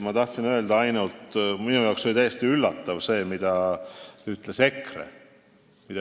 Ma tahtsin öelda ainult seda, et minu arvates oli täiesti üllatav see, mida ütles EKRE.